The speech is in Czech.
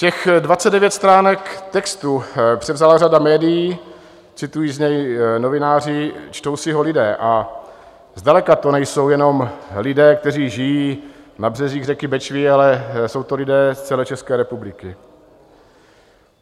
Těch 29 stránek textu převzala řada médií, citují z něj novináři, čtou si ho lidé a zdaleka to nejsou jenom lidé, kteří žijí na březích řeky Bečvy, ale jsou to lidé z celé České republiky.